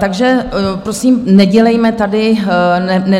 Takže prosím, nedělejme tady